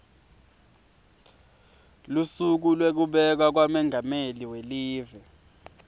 lusuku lwekubekwa kwamengameli welive